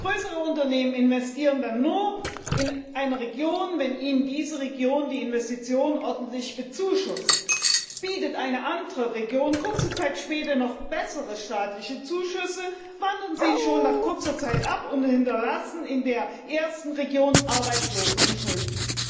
Größere Unternehmen investieren dann nur in eine Region, wenn ihnen diese Region die Investition ordentlich bezuschusst. Bietet eine andere Region kurze Zeit später noch bessere staatliche Zuschüsse, wandern sie schon nach kurzer Zeit ab und hinterlassen in der ersten Region Arbeitslose und Schulden.